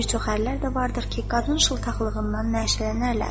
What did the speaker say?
Bir çox ərlər də vardır ki, qadın şıltaqlığından nəşələnərlər.